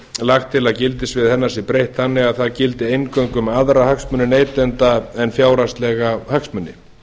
lagt til að gildissviði hennar sé breytt þannig að það gildi eingöngu um aðra hagsmuni neytenda en fjárhagslega hagsmuni